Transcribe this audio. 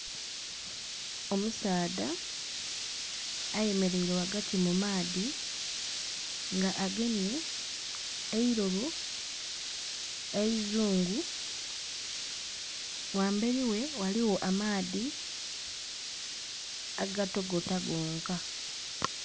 Omusaadha ayemeleire ghagati mu maadhi nga agemye eilobo eizungu. Ghambeli ghe ghaligho amaadhi agatogota gonka.